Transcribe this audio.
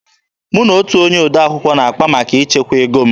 Mụ na otu onye odee akwụkwọ na-akpa maka ichekwa ego m.